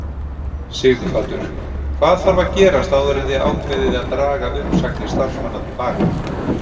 Sighvatur: Hvað þarf að gerast áður en þið ákveðið að draga uppsagnir starfsmanna til baka?